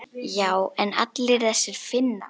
Já en allir þessir Finnar.